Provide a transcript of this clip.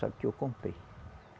Só que eu comprei.